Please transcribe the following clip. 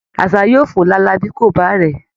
Àṣá yóò fò lálá bí kò bá rẹ̀ẹ́